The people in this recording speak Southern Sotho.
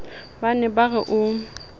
ba ne ba re o